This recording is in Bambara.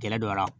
Gɛrɛ dɔ la